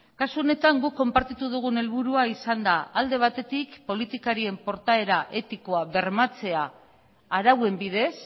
kasu honetan guk konpartitu dugun helburua izan da alde batetik politikarien portaera etikoa bermatzea arauen bidez